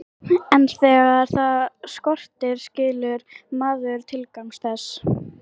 En þegar það skortir skilur maður tilgang þess.